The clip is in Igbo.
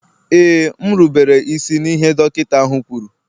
Ee, m rubere isi n'ihe dọkịta ahụ kwuru